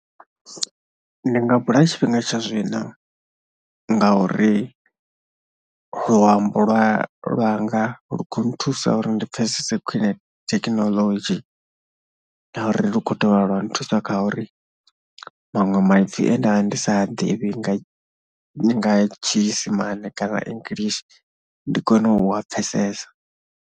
Ndi nga bula tshifhinga tsha zwino ngauri luambo lwa lwanga lu khou nthusa uri ndi pfhesese kwine thekinoḽodzhi na uri lu khou dovha lwa nthusa kha uri maṅwe maipfi e nda, ndi sa a ḓivhi nga nga tshiisimane kana english ndi kone u a pfhesesa.